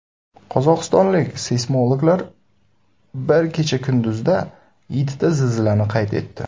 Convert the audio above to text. Qozog‘istonlik seysmologlar bir kecha-kunduzda yettita zilzilani qayd etdi.